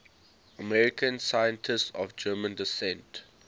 american scientists of german descent